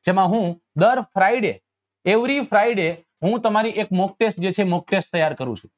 જેમાં હું દર fridayevery friday હું તમારી એક mock test જેટલી mock test તૈયાર કરું છું